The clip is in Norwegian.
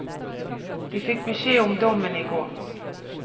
De fikk beskjed om dommen i går.